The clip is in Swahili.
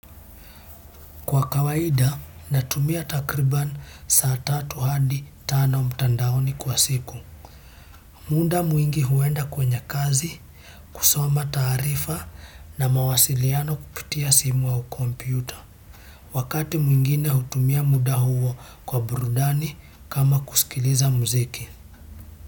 Kwa kawaida natumia takriban saa tatu hadi tano mtandaoni kwa siku. Muda mwingi huenda kwenye kazi, kusoma taarifa na mawasiliano kupitia simu au kompyuta. Wakati mwingine hutumia muda huo kwa burudani kama kusikiliza muziki.